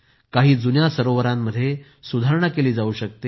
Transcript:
काही जुन्या सरोवरांमध्ये सुधारणा केली जावू शकते